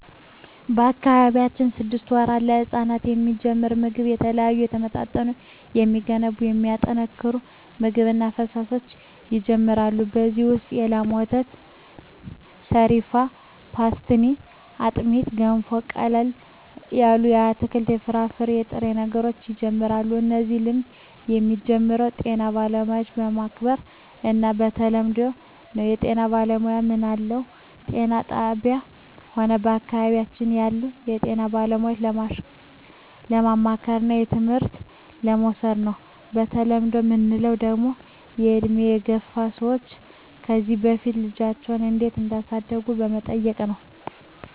በአካባቢያችን ስድስት ወራት ለህጻናት የሚጀምረው ምግብ የተለያዩ የተመጣጠኑ የሚገነቡ የሚያጠናክሩ ምግብ እና ፈሣሾች ይጀመራሉ ከዚ ውሰጥ የላም ወተት ሰሪፋን ፓሥትኒ አጥሜት ገንፎ ቀለል ያሉ የአትክልት የፍራፍሬ የጥሬ ነገሮች ይጀምራሉ እነዚህ ልምድ የሚጀምረው ጤና ባለሙያዎች በማማከር እና በተለምዶው ነው በጤና ባለሙያዎች ምንለው ጤና ጣብያ ሆነ በአካባቢያችን ያሉ የጤና ባለሙያዎች በማማከርና ትምህርት በመዉሰድ ነው በተለምዶ ምንለው ደግሞ በእድሜ የገፍ ሰዎች ከዚ በፊት ልጃቸው እንዴት እዳሳደጉ በመጠየቅ ነው